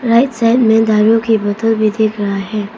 Right side में दारू की बोतल भी दिख रहा है।